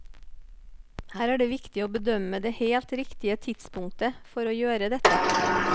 Her er det viktig å bedømme det helt riktige tidspunktet for å gjøre dette.